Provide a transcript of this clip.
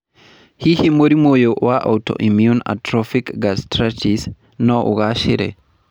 Hihi mũrimũ ũyũ wa autoimmune atrophic gastritis no ũgaacĩre?